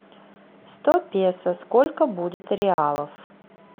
сто песо сколько будет реалов